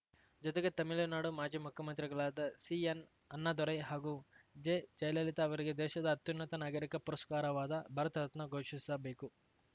ಜೊತೆಗೆ ತಮಿಳುನಾಡು ಮಾಜಿ ಮುಖ್ಯಮಂತ್ರಿಗಳಾದ ಸಿಎನ್‌ ಅಣ್ಣಾದೊರೈ ಹಾಗೂ ಜೆ ಜಯಲಲಿತಾ ಅವರಿಗೆ ದೇಶದ ಅತ್ಯುನ್ನತ ನಾಗರಿಕ ಪುರಸ್ಕಾರವಾದ ಭಾರತ ರತ್ನ ಘೋಷಿಸಬೇಕು